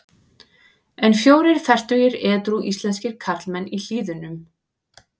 En fjórir fertugir edrú íslenskir karlmenn í Hlíðunum.